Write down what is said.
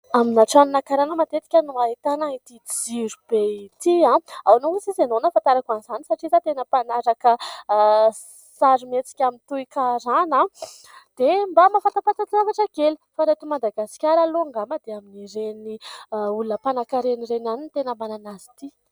Amina tranona karana matetika no ahitana ity jirobe ity. Ahoana ozy izy ianao no nahafantarako an'izany ? Satria za tena mpanaraka sarimihetsika toy karana dia mba mahafantapatatra kely. Fa raha eto Madagasikara aloha angamba dia amin'ireny olona mpanankaren'ireny ihany ny tena manana azy ity.